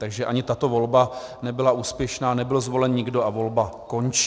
Takže ani tato volba nebyla úspěšná, nebyl zvolen nikdo a volba končí.